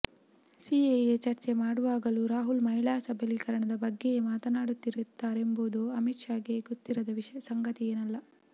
CAA ಚರ್ಚೆ ಮಾಡುವಾಗಲೂ ರಾಹುಲ್ ಮಹಿಳಾ ಸಬಲೀಕರಣದ ಬಗ್ಗೆಯೇ ಮಾತನಾಡುತ್ತಾರೆಂಬುದು ಅಮಿತ್ ಷಾಗೆ ಗೊತ್ತಿರದ ಸಂಗತಿ ಏನಲ್ಲ